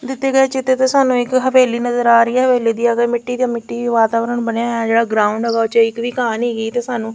ਦਿੱਤੇ ਗਏ ਚਿਤਰ ਤੇ ਸਾਨੂੰ ਇੱਕ ਹਵੇਲੀ ਨਜਰ ਆ ਰਹੀ ਹੈ ਹਵੇਲੀ ਦੇ ਅੱਗੇ ਮਿੱਟੀ ਤੇ ਮਿੱਟੀ ਚ ਵਾਤਾਵਰਣ ਬਣਿਆ ਹੋਇਆ ਹੈ ਜੇਹੜਾ ਗਰਾਉਂਡ ਹੈ ਉਦੇ ਵਿਚ ਇੱਕ ਵੀ ਘਾਹ ਨੀ ਹੈਗੀ ਤੇ ਸਾਨੂੰ --